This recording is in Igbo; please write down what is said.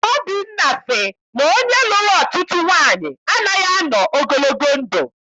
Obinna sị na onye lụrụ ọtụtụ nwaanyị anaghị anọ ogologo ndụ.